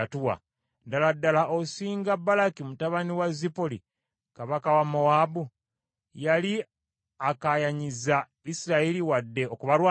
Ddala ddala osinga Balaki mutabani wa Zipoli kabaka wa Mowaabu? Yali akaayanyizza Isirayiri wadde okubalwanyisa?